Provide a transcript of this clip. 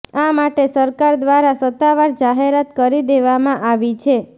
આ માટે સરકાર દ્વારા સત્તાવાર જાહેરાત કરી દેવામાં આવી છે